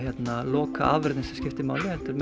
lokaafurðin sem skiptir máli heldur